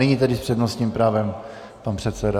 Nyní tedy s přednostním právem pan předseda.